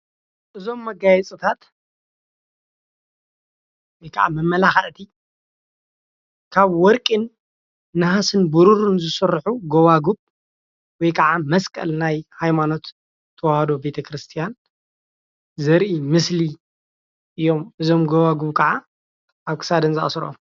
እዞም መጋየፅታት ወይ ከዓ መመላክዕቲ ካብ ወርቂን፣ ናሃስን ብሩርን ዝስርሑ ጎባጉብ ወይ ከዓ መስቀል ናይ ሃይማኖት ተዋህዶ ቤተ ክርስትያን ዘርኢ ምስሊ እዮም፡፡ እዞም ጎባጉብ ከዓ ኣብ ክሳደን ዝኣስረኦም፡፡